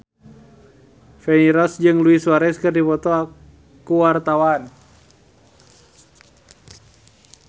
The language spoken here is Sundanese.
Feni Rose jeung Luis Suarez keur dipoto ku wartawan